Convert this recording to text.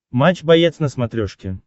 матч боец на смотрешке